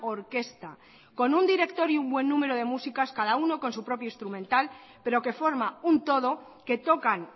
orquesta con un director y un buen número de músicos cada uno con su propio instrumental pero que forma un todo que tocan